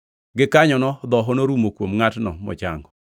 Gikanyono dhoho norumo kuom ngʼatno mochango.